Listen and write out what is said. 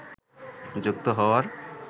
যুক্ত হওয়ার